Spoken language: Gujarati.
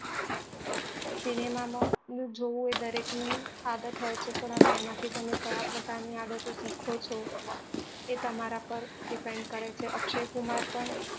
સિનેમા માં જોવું એ દરેક ની આદત હોય છે પણ હવે એમાં થી તમે કયા પ્રકાર ની આદત ઓ શીખો છો એ તમારા પર depend કરે છે અક્ષય કુમાર પણ